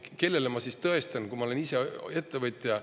Kellele ja mida ma siis tõestan, kui ma olen ise ettevõtja?